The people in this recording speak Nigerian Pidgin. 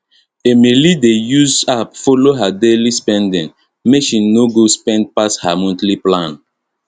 emily dey use app follow her daily spending make she no go spend pass her monthly plan